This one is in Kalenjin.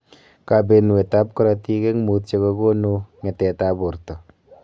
Kabenuet ab korotik eng mutyo kokonu nge�tet ab borto